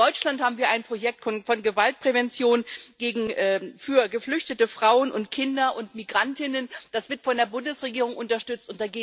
In Deutschland haben wir ein Projekt von Gewaltprävention für geflüchtete Frauen und Kinder und Migrantinnen, das wird von der Bundesregierung unterstützt.